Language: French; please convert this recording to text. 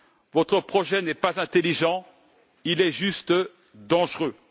Votre projet n'est pas intelligent, il est juste dangereux.